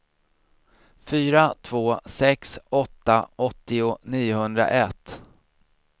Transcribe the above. fyra två sex åtta åttio niohundraett